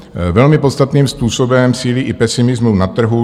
Velmi podstatným způsobem sílí i pesimismus na trhu.